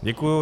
Děkuji.